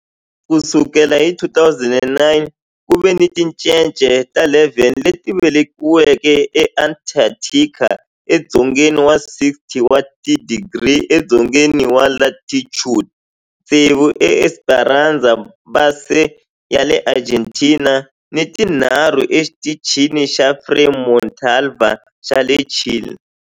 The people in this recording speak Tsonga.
Ku sukela hi 2009, ku ve ni tincece ta 11 leti velekiweke eAntarctica, edzongeni wa 60 wa tidigri edzongeni wa latitude, tsevu eEsperanza Base ya le Argentina ni tinharhu eXitichini xa Frei Montalva xa le Chile.